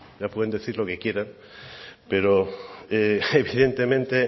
ya pueden decir lo que quieran pero evidentemente